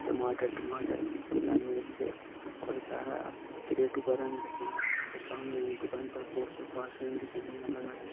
टमाटर टुमाटरन शिमला मिर्च और सारा क्रेटों परन रख्यां और सामनि हमि दुकानि पर पोस्टर पास्टरन दिखेण लग्यां लगायां।